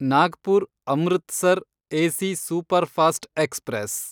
Nagpur Amritsar AC superfast express